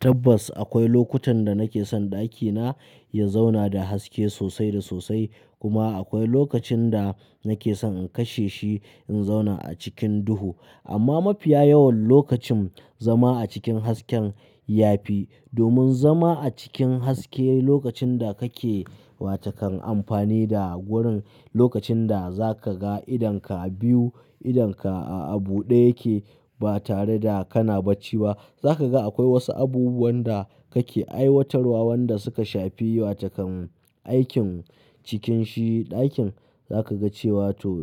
Tabbas akwai lokutan da nake son ɗakina ya zauna da haske sosai da sosai. Kuma akwai lokacin da nake son in kashe shi in zauna a cikin duhu. Amma mafiya yawan lokacin zama a cikin hasken yafi. Domin zama a cikin haske lokacin da kake wata kan amfani da gurin lokacin da za ka ga idonka biyu idonka a buɗe yake ba tare da kana bacci ba. Za ka ga akwai wasu abubuwan da kake aiwatarwa wanda suka shafi wa takan aikin cikin shi ɗakin za ka ga cewa to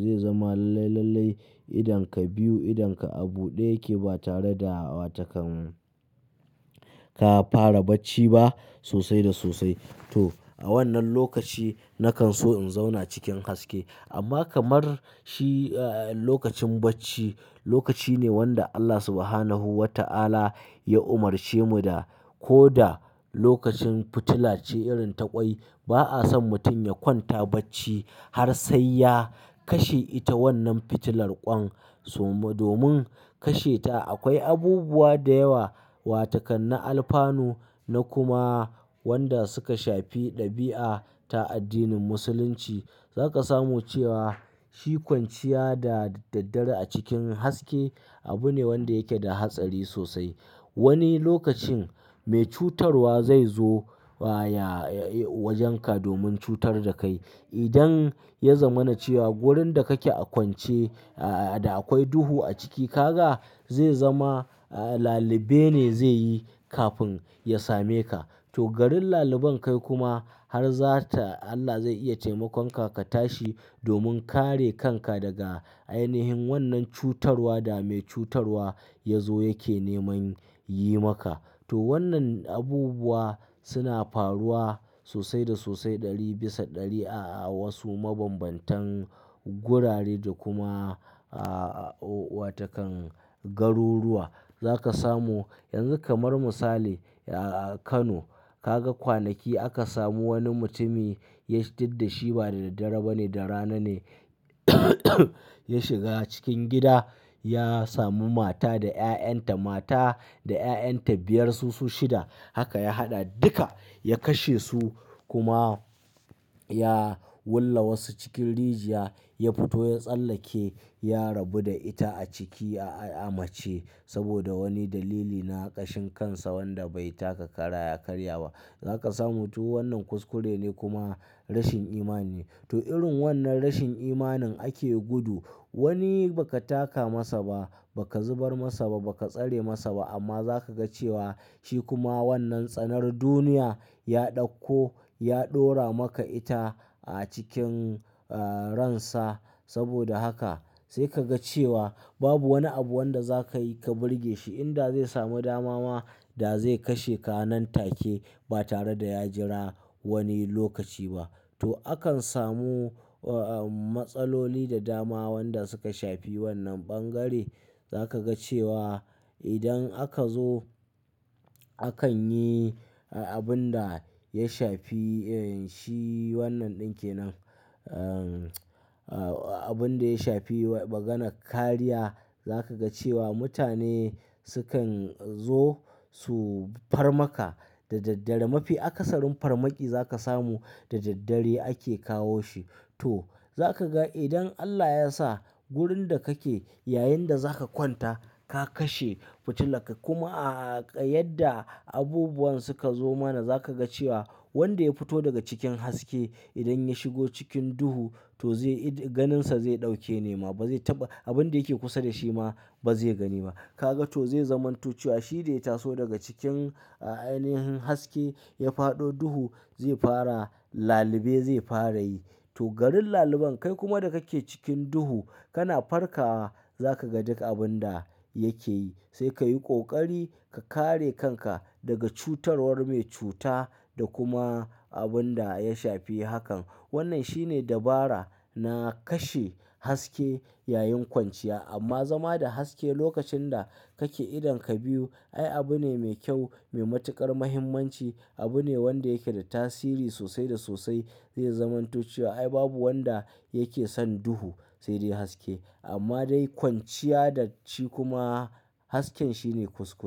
zai zama lallai lallai idonka biyu idonka a buɗe yake ba tare da wa takan ka fara bacci ba sosai da sosai. To a wannan lokaci nakan so in zauna cikin haske amma kamar shi lokacin bacci lokaci ne wanda Allah Subhanahu wa ta'ala ya umarce mu da ko da lokacin fitila ce irin ta ƙwai ba a son mutum ya kwanta bacci har sai ya kashe ita wannan fitilar ƙwan. So-- domin kashe ta akwai abubuwa da yawa wa takan na alfano na kuma wanda suka shafi ɗabi'a ta addinin musulunci. Za ka samu cewa shi kwanciya da daddare a cikin haske abu ne wanda yake da hatsari sosai. Wani lokacin mai cutarwa zai zo ya wajen ka domin cutar da kai. Idan yazamana cewa gurin da kake a kwance da akwai duhu aciki, kaga zaizama laluɓene zaiyi kafin yasameka. To garin lallaban kai kuma har zata Allah zai iya taimakon ka, ka tashi domin kare kanka daga ainihin wannan cutarwa da mai cutarwa ya zo yake neman yi maka. To wannan abubuwa suna faruwa sosai da sosai ɗari bisa ɗari a wasu mabambantan gurare da kuma a wa takan garuruwa. Za ka samu, yanzu kamar misali a Kano ka ga kwanaki aka samu wani mutumi ya fidda shi ba da daddare ba ne, da rana ne ya shiga cikin gida ya sami mata da 'ya'yan ta mata da 'ya'yan ta biyar su su shida. Haka ya haɗa duka ya kashe su kuma ya willa wasu cikin rijiya ya fito ya tsallake ya rabu da ita a ciki a mace saboda wani dalili na ƙashin kansa wanda bai taka kara ya karya ba. Za ka samu to wannan kuskure ne kuma rashin imani ne. To irin wannan rashin imanin ake gudu. Wani ba ka taka masa ba, ba ka zubar masa ba, ba ka tsare masa ba amma za ka ga cewa shi kuma wannan tsanar duniya ya ɗauko ya dora maka ita a cikin ransa. Saboda haka sai ka ga cewa babu wani abu wanda za ka yi ka burge shi inda zai samu dama ma da zai kashe ka nan take ba tare da ya jira wani lokaci ba. To akan samu matsaloli da dama wanda suka shafi wannan ɓangare. Za ka ga cewa idan aka zo akan yi abun da ya shafi shi wannan ɗin ke nan. Abun da ya shafi wa maganan kariya za ka ga cewa mutane sukan zo su farmaka da daddare. Mafi akasarin farmaki za ka samu da daddare ake kawo shi. To za ka ga idan Allah ya sa gurin da kake yayin da za ka kwanta ka kashe fitila ka kuma a yadda abubuwan suka zo mana za ka ga cewa wanda ya fito daga cikin haske idan ya shigo cikin duhu to zai ganinsa zai ɗauke nema ba zai taɓa abun da yake kusa da shi ma ba zai gani ba. Kaga to zai zamanto cewa shi da ya taso daga cikin ainihin haske ya faɗo duhu zai fara lalube zai fara yi. To garin lallaban kai kuma da kake cikin duhu kana farka za ka ga duk abun da yake yi. Sai ka yi ƙoƙari ka kare kanka daga cutarwar mai cuta da kuma abun da ya shafi hakan. Wannan shine dabara na kashe haske yayin kwanciya amma zama da haske lokacin da kake idonka biyu ai abu ne mai kyau, mai matuƙar muhimmanci. Abu ne wanda yake da tasiri sosai da sosai. Zai zamanto cewa ai babu wanda yake son duhu sai dai haske amma dai kwanciya da ci kuma hasken shine kuskure.